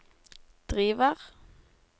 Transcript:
driver